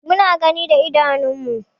Mu na gani da idanun mu.